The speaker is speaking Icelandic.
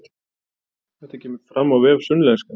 Þetta kemur fram á vef Sunnlenska